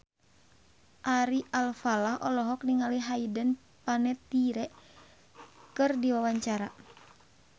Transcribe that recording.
Ari Alfalah olohok ningali Hayden Panettiere keur diwawancara